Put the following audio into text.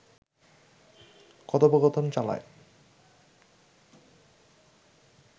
কথোপকথন চালায়